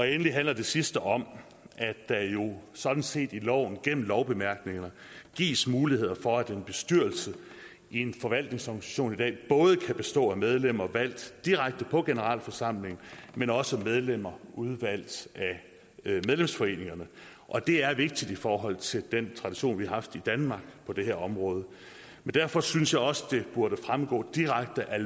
endelig handler det sidste om at der jo sådan set gennem lovbemærkningerne gives muligheder for at en bestyrelse i en forvaltningsorganisation både kan bestå af medlemmer valgt direkte på generalforsamlingen men også af medlemmer udvalgt af medlemsforeningerne det er vigtigt i forhold til den tradition vi har haft i danmark på det her område derfor synes jeg også at det burde fremgå direkte af